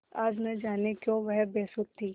आज न जाने क्यों वह बेसुध थी